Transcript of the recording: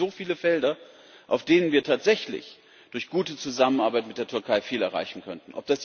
Und es gibt so viele Felder, auf denen wir tatsächlich durch gute Zusammenarbeit mit der Türkei viel erreichen könnten.